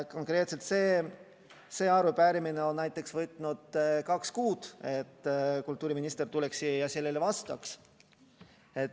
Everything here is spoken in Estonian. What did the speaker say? Konkreetselt see arupärimine on näiteks võtnud kaks kuud, et kultuuriminister tuleks siia ja sellele vastaks.